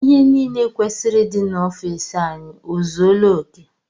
Ihe niile kwesịrị ịdị n'ofici anyị ọ zuela oké?